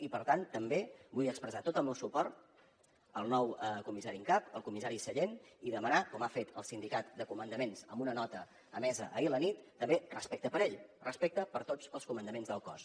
i per tant també vull expressar tot el meu suport al nou comissari en cap al comissari sallent i demanar com ha fet el sindicat de comandaments en una nota emesa ahir a la nit també respecte per ell respecte per tots els comandaments del cos